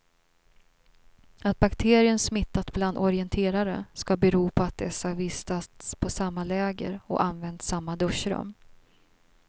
Att bakterien smittat bland orienterare ska bero på att dessa vistats på samma läger och använt samma duschrum.